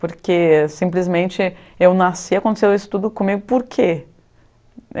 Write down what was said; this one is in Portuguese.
Porque simplesmente eu nasci, aconteceu isso tudo comigo, por quê?